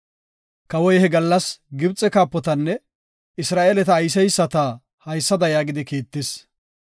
Kawoy he gallas Gibxe kaapotanne Isra7eeleta oosiseyisata haysada yaagidi kiittis;